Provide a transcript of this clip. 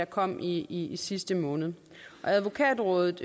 kom i i sidste måned advokatrådet